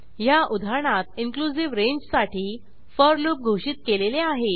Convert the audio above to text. ह्या उदाहरणात इनक्लुझिव्ह रेंजसाठी फोर लूप घोषित केलेले आहे